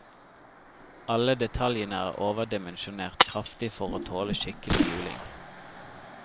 Alle detaljene er overdimensjonert kraftig for å tåle skikkelig juling.